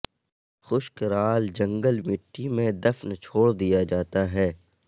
خشک رال جنگل مٹی میں دفن چھوڑ دیا جاتا ہے